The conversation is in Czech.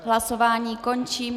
Hlasování končím.